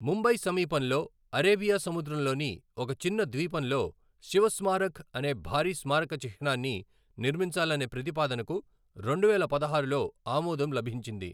ముంబై సమీపంలో అరేబియా సముద్రంలోని ఒక చిన్న ద్వీపంలో శివ్ స్మారక్ అనే భారీ స్మారక చిహ్నాన్ని నిర్మించాలనే ప్రతిపాదనకు రెండువేల పదహారులో ఆమోదం లభించింది.